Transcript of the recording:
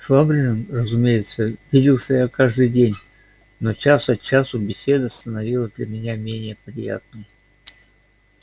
швабриным разумеется виделся я каждый день но час от часу беседа становилась для меня менее приятной